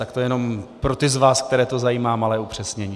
Tak to jenom pro ty z vás, které to zajímá, malé upřesnění.